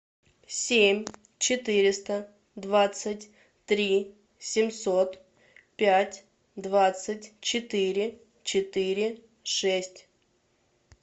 семь четыреста двадцать три семьсот пять двадцать четыре четыре шесть